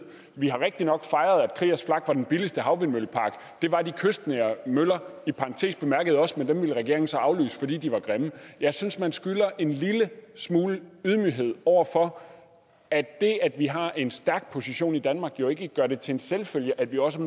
vi har rigtig nok fejret at kriegers flak var den billigste havvindmøllepark det var de kystnære møller i parentes bemærket også men dem ville regeringen så aflyse fordi de var grimme jeg synes man skylder en lille smule ydmyghed over for at det at vi har en stærk position i danmark jo ikke gør det til en selvfølge at vi også